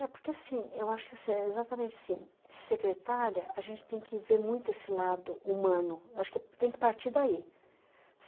É, porque assim, eu acho que exatamente assim, secretária, a gente tem que ver muito esse lado humano, acho que tem que partir daí.